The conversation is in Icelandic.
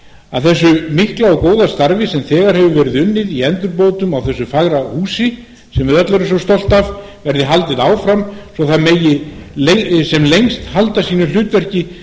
að þessu mikla og góða starfi sem þegar hefur verið unnið í endurbótum á þessu fagra húsi sem við öll erum svo stolt af verði haldið